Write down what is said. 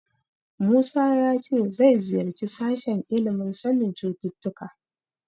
Musa ya ce zai ziyarci sashen ilimin sanin cututtuka.